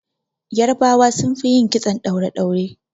Yarbawa sun fi yin kitson ɗaure-ɗaure.